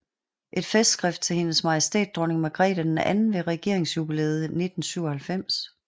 Et festskrift til Hendes Majestæt Dronning Margrethe II ved regeringsjubilæet 1997